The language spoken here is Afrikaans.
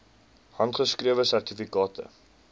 handgeskrewe sertifikate